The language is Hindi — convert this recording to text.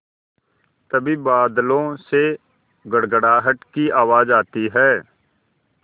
तभी बादलों से गड़गड़ाहट की आवाज़ आती है